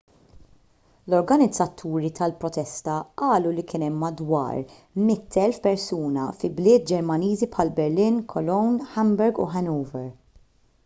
l-organizzaturi tal-protesta qalu li kien hemm madwar 100,000 persuna fi bliet ġermaniżi bħal berlin cologne hamburg u hanover